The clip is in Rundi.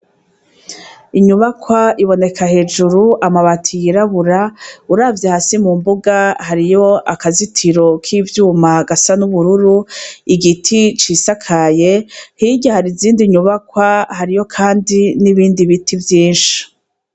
Inyubakwa iboneka hejuru, amabati yirabura, uravye hasi mumbuga hariyo akazitiro k’ivyuma gasa n’ubururu, igiti cisakaye, hirya har’izindi nyubakwa hariyo Kandi n’ibindi biti vyinshi.